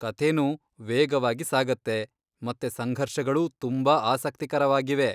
ಕಥೆನೂ ವೇಗವಾಗಿ ಸಾಗತ್ತೆ, ಮತ್ತೆ ಸಂಘರ್ಷಗಳೂ ತುಂಬಾ ಆಸಕ್ತಿಕರವಾಗಿವೆ.